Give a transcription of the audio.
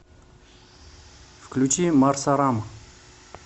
включи марсарам